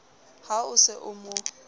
ha o se o mo